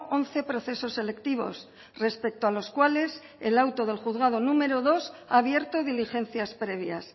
once procesos selectivos respecto a los cuales el auto del juzgado número dos ha abierto diligencias previas